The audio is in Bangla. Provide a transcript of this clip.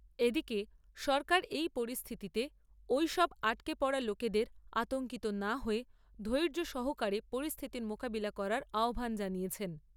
এদিকে সরকার এই পরিস্থিতিতে ঐসব আটকে পড়া লোকেদের আতঙ্কিত না হয়ে ধৈর্য সহকারে পরিস্থিতির মোকাবিলা করার আহ্বান জানিয়েছেন।